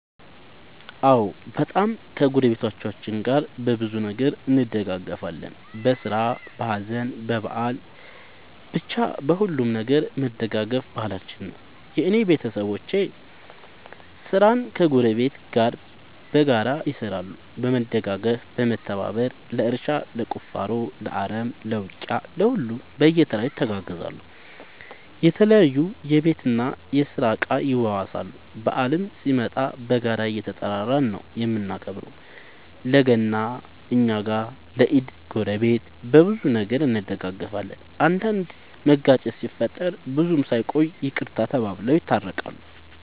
አዎ በጣም ከ ጎረቤቶቻችን ጋር በብዙ ነገር እንደጋገፋለን በስራ በሀዘን በበአል በቻ በሁሉም ነገር መደጋገፍ ባህላችን ነው። የእኔ ቤተሰቦቼ ስራን ከ ጎረቤት ጋር በጋራ ይሰራሉ በመደጋገፍ በመተባበር ለእርሻ ለቁፋሮ ለአረም ለ ውቂያ ለሁሉም በየተራ ይተጋገዛሉ የተለያዩ የቤት እና የስራ እቃ ይዋዋሳሉ። በአልም ሲመጣ በጋራ እየተጠራራን ነው የምናከብረው ለ ገና እኛ ጋ ለ ኢድ ጎረቤት። በብዙ ነገር እንደጋገፋለን። አንዳንድ መጋጨት ሲፈጠር ብዙም ሳይቆዩ ይቅርታ ተባብለው የታረቃሉ።